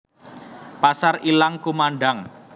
Pasar ilang kumandhang